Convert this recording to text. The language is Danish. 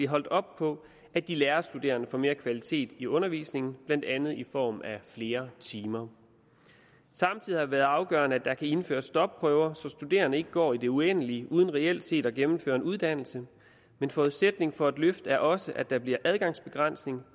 holdt op på at de lærerstuderende får mere kvalitet i undervisningen blandt andet i form af flere timer samtidig har det været afgørende at der kan indføres stopprøver så studerende ikke går i det uendelige uden reelt set at gennemføre en uddannelse men forudsætningen for et løft er også at der bliver adgangsbegrænsning